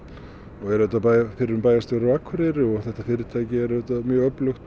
og er auðvitað fyrrum bæjarstjóri Akureyri og þetta fyrirtæki er auðvitað mjög öflugt